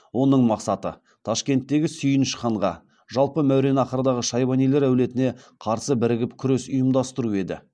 оның мақсаты ташкенттегі сүйініш ханға жалпы мәуереннахрдағы шайбанилар әулетіне қарсы бірігіп күрес ұйымдастыру еді